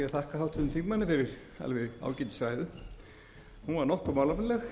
þakka háttvirtum þingmanni fyrir alveg ágætis ræðu hún var nokkuð málefnaleg